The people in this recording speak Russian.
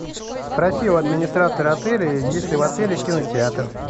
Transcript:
спроси у администратора отеля есть ли в отеле кинотеатр